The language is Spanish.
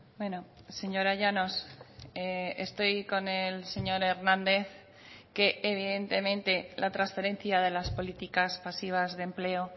bueno señora llanos estoy con el señor hernández que evidentemente la transferencia de las políticas pasivas de empleo